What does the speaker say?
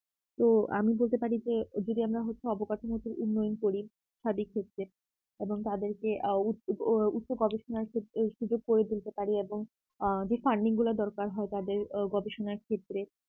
তো আমি বলতে পারি যে যদি আমরা হচ্ছে যে অবকাঠামোগত উন্নয়ন করি সাদিক ক্ষেত্রে এবং তাদেরকে আ উচ্চ উচ্চ গবেষণার ক্ষেত্রে এই সুযোগ করে দিতে পারি এবং আ যে funding গুলার দরকার হয় তাদের আ গবেষণার ক্ষেত্রে